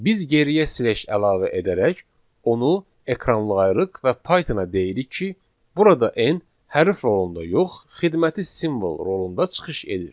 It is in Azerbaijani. Biz geriyə slash əlavə edərək onu ekranlayırıq və Pythona deyirik ki, burada n hərf rolunda yox, xidməti simvol rolunda çıxış edir.